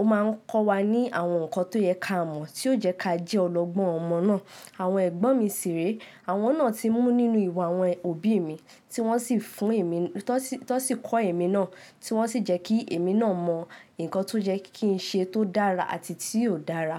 ó máa ń kọ́ wa ní àwọn nǹkan tó yẹ ká mọ̀ tí ó jẹ́ ká jẹ́ ọlọ́gbọ́n ọmọ náà. Àwọn ẹ̀gbọ́n mi sì rèé, àwọn náà tí mú nínú ìwà àwọn òbí mi tí wọ́n sì fún èmi, tí wọ́n sì kọ́ èmi náà tí wọ́n sì jẹ́ kí èmi náà mọ̀ nǹkan tó yẹ́ kí n ṣe tó dára àti tí óò dára.